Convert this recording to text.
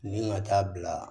Nin ka taa bila